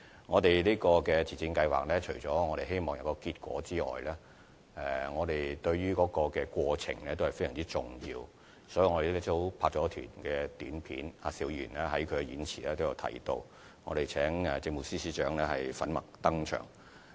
我們希望自薦計劃取得成果外，對過程也十分重視，所以我們拍攝了一輯短片，而邵議員在演辭中亦有提到，我們更邀請政務司司長在短片中粉墨登場。